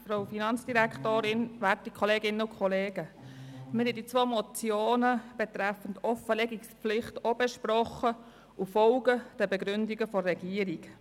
Wir haben die zwei Motionen zur Offenlegungspflicht ebenfalls besprochen und folgen den Begründungen der Regierung.